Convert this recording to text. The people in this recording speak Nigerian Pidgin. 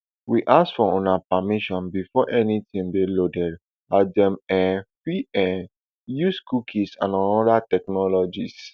we ask for una permission before anytin dey loaded as dem um fit um dey use cookies and oda technologies